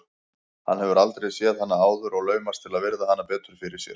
Hann hefur aldrei séð hana áður og laumast til að virða hana betur fyrir sér.